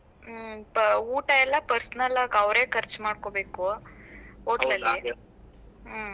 ಹ್ಮ್ ಪ~ ಊಟ ಎಲ್ಲ personal ಆಗ್ ಅವ್ರೆ ಖರ್ಚ್ ಮಾಡ್ಕೋಬೇಕು hotel ಹ್ಮ್.